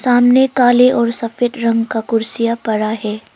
सामने काले और सफेद रंग का कुर्सियां पड़ा है।